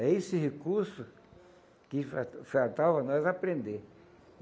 É esse recurso que fal faltava nós aprender.